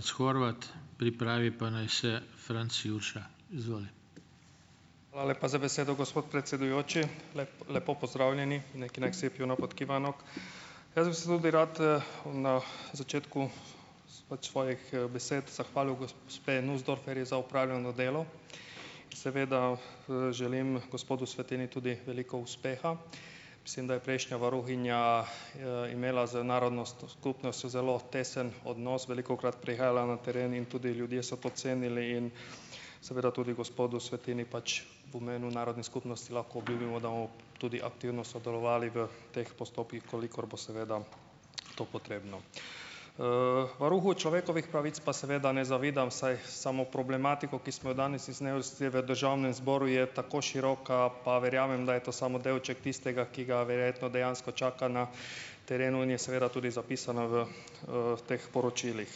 Hvala lepa za besedo, gospod predsedujoči. lepo pozdravljeni. Jaz bi se tudi rad, na začetku pač svojih, besed zahvalil gospe Nusdorferjevi za opravljeno delo, seveda, želim gospodu Svetini tudi veliko uspeha. Mislim, da je prejšnja varuhinja, imela z narodnostno skupnostjo zelo tesen odnos, velikokrat prihajala na teren in tudi ljudje so to cenili in seveda tudi gospodu Svetini pač v narodne skupnosti lahko obljubimo, da tudi aktivno sodelovali v teh postopkih, v kolikor bo seveda to potrebno. Varuhu človekovih pravic pa seveda ne zavidam, saj samo problematiko, ki smo jo danes v državnem zboru, je tako široka, pa verjamem, da je to samo delček tistega, ki ga verjetno dejansko čaka na terenu, in je seveda tudi zapisana v, teh poročilih.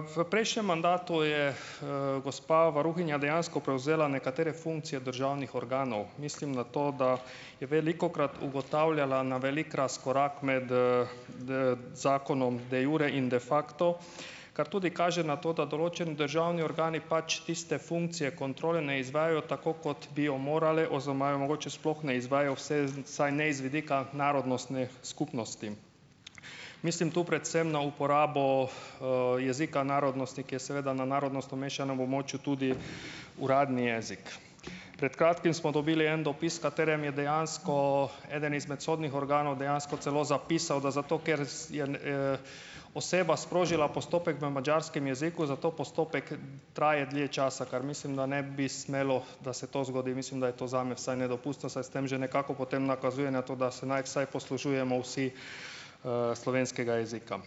V prejšnjem mandatu je, gospa varuhinja dejansko prevzela nekatere funkcije državnih organov. Mislim, na to, da je velikokrat ugotavljala na velik razkorak med, zakonom de iure in de facto, kar tudi kaže na to, da določeni državni organi pač tiste funkcije kontrole ne izvajajo tako, kot bi jo morale oziroma je mogoče je sploh ne izvaja vse, vsaj ne iz vidika narodnostne skupnosti. Mislim tu predvsem na uporabo, jezika narodnosti, ki je seveda na narodnostno mešanem območju tudi uradni jezik. Pred kratkim smo dobili en dopis, v katerem je dejansko eden izmed sodnih organov dejansko celo zapisal, da zato, ker je, oseba sprožila postopek v madžarskem jeziku, zato postopek traja dlje časa, kar mislim, da ne bi smelo, da se to zgodi. Mislim, da je to zame vsaj nedopustno, saj s tem že nekako potem nakazuje na to, da se naj vsaj poslužujemo vsi, slovenskega jezika.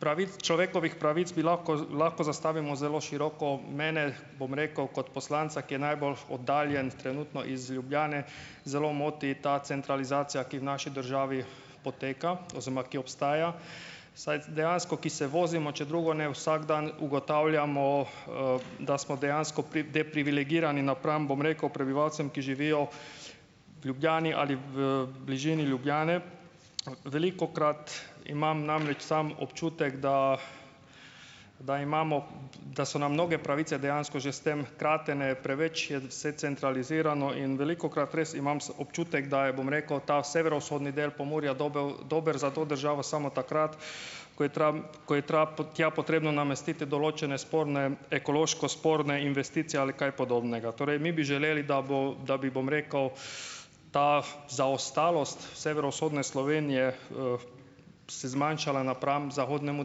pravic človekovih pravic bi lahko lahko zastavimo zelo široko. Mene, bom rekel, kot poslanca, ki je najbolj oddaljen trenutno iz Ljubljane, zelo moti ta centralizacija, ki v naši državi poteka oziroma ki obstaja, vsaj dejansko, ki se vozimo, če drugo ne, vsak dan ugotavljamo, da smo dejansko deprivilegirani napram, bom rekel, prebivalcem, ki živijo v Ljubljani ali v bližini Ljubljane. Velikokrat imam namreč sam občutek, da da imamo, da so nam mnoge pravice dejansko že s tem kratene, preveč je vse centralizirano in velikokrat res imam občutek, da je, bom rekel, ta severovzhodni del Pomurja dober dobro za to državo samo takrat, ko je ko je tja potrebno namestiti določene sporne, ekološko sporne investicije ali kaj podobnega. Torej mi bi želeli, da bo, da bi, bom rekel, ta zaostalost severovzhodne Slovenije, se zmanjšala napram zahodnemu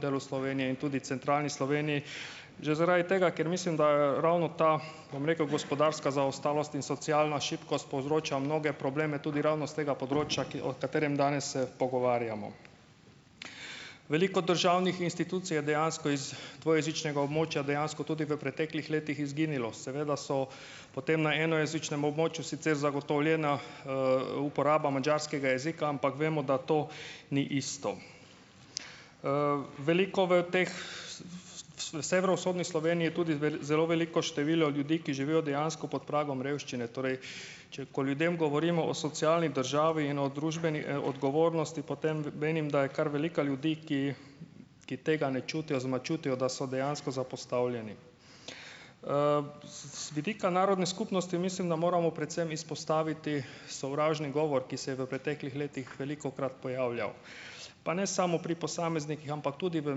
delu Slovenije in tudi centralni Sloveniji. Že zaradi tega, ker mislim, da ravno ta, bom rekel, gospodarska zaostalost in socialna šibkost povzroča mnoge probleme tudi ravno s tega področja, ki o katerem danes se pogovarjamo. Veliko državnih institucij je dejansko iz dvojezičnega območja dejansko tudi v preteklih letih izginilo. Seveda so potem na enojezičnem območju sicer zagotovljena, uporaba madžarskega jezika, ampak vemo, da to ni isto. Veliko v teh ... V severovzhodni Sloveniji je tudi zelo veliko število ljudi, ki živijo dejansko pod pragom revščine. Torej, če ko ljudem govorimo o socialni državi in o družbeni, odgovornosti, potem menim, da je kar veliko ljudi, ki ki tega ne čutijo oziroma čutijo, da so dejansko zapostavljeni. Z vidika narodne skupnosti mislim, da moramo predvsem izpostaviti sovražni govor, ki se je v preteklih letih velikokrat pojavljal, pa ne samo pri posameznikih, ampak tudi v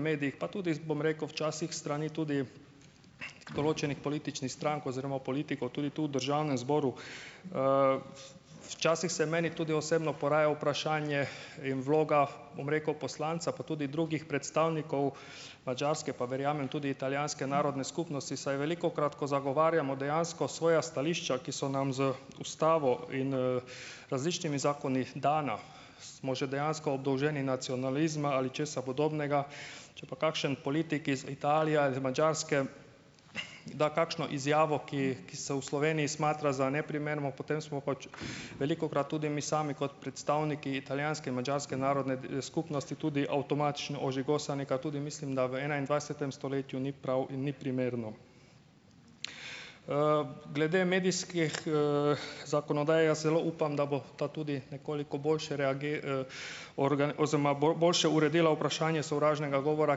medijih, pa tudi bom rekel včasih s strani tudi določenih političnih strank oziroma politikov, tudi tu v državnem zboru. Včasih se meni tudi osebno poraja vprašanje in vloga, bom rekel, poslanca, pa tudi drugih predstavnikov Madžarske, pa verjamem, tudi italijanske narodne skupnosti, saj velikokrat, ko zagovarjamo dejansko svoja stališča, ki so nam z ustavo in, različnimi zakoni dana, smo že dejansko obdolženi nacionalizma ali česa podobnega. Če pa kakšen politik iz Italije ali iz Madžarske da kakšno izjavo, ki ki se v Sloveniji smatra za neprimerno, potem smo pač velikokrat tudi mi sami kot predstavniki italijanske in madžarske narodne, skupnosti tudi avtomatično ožigosani, kaj tudi mislim, da v enaindvajsetem stoletju ni prav in ni primerno. Glede medijskih, zakonodaj jaz zelo upam, da bo ta tudi nekoliko boljše oziroma boljše uredila vprašanje sovražnega govora,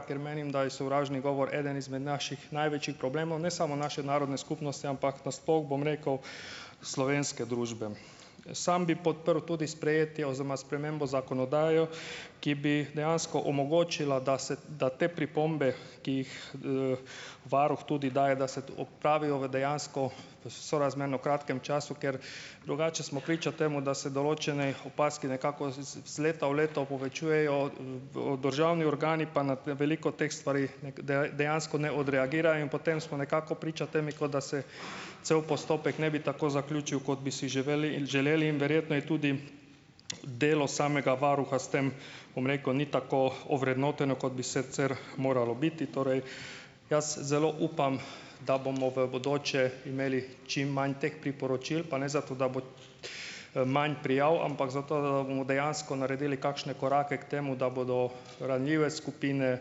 ker menim, da je sovražni govor eden izmed naših največjih problemov, ne samo naše narodne skupnosti, ampak nasploh, bom rekel, slovenske družbe. Sam bi podprl tudi sprejetje oziroma spremembo zakonodaje, ki bi dejansko omogočila, da se da te pripombe, ki jih, varuh tudi daje, da se to opravijo v dejansko sorazmerno kratkem času, ker drugače smo priča temu, da se določenih opazk nekako z z leta v leto povečujejo, državni organi pa na veliko teh stvari dejansko ne odreagirajo in potem smo nekako priča temi, kot da se cel postopek ne bi tako zaključil, kot bi si želeli želeli. In verjetno je tudi, delo samega varuha s tem, rekel, ni tako ovrednoteno, kot bi sicer moralo biti. Torej, jaz zelo upam, da bomo v bodoče imeli čim manj teh priporočil, pa ne zato, da bo imam prijav, ampak zato, da bomo dejansko naredili kakšne korake k temu, da bodo ranljive skupine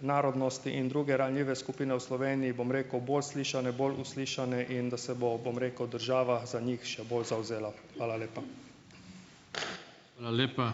narodnosti in druge ranljive skupine v Sloveniji, bom rekel, bolj slišane, bolj uslišane in da se bo, bom rekel, država za njih še bolj zavzela. Hvala lepa.